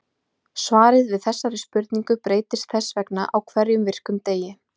Svarið við þessari spurning breytist þess vegna á hverjum virkum degi.